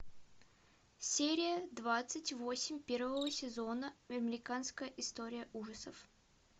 серия двадцать восемь первого сезона американская история ужасов